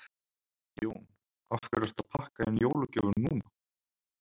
Jón: Af hverju ertu að pakka inn jólagjöfum núna?